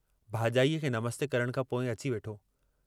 भाॼाईअ खे नमस्ते करण खां पोइ अची वेठो।